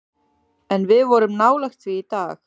En við vorum nálægt því í dag.